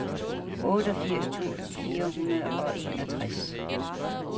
otteogfirs tusind fire hundrede og enogtres